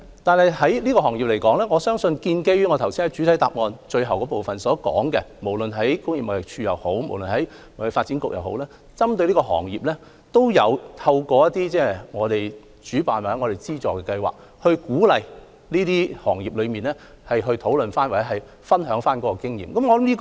但是，就這個行業而言，一如我剛才在主體答覆最後部分所說，無論工業貿易署或香港貿易發展局，均有針對這個行業，透過其主辦或資助的計劃，鼓勵這些行業討論或分享經驗。